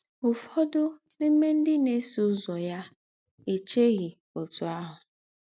Ụ́fọ̀dụ̀ n’ímè ńdị́ ná-èsọ̀ úzọ̀ yà èchèghì ótù áhụ̀.